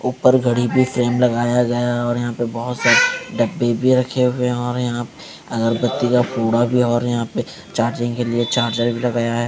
उपर घड़ी पे फ्रेम लगाया गया है और यहाँ पे बहोत सारे डब्बे भी रखे हुए है और यहाँ पे अगरबत्ती का फूडा भी है और यहाँ पे चार्जिंग के लिए चार्जर भी लगाया है।